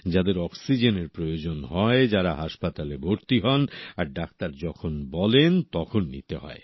যাঁদের অক্সিজেনের প্রয়োজন হয় যারা হাসপাতালে ভর্তি হন আর ডাক্তার যখন বলেন তখন নিতে হয়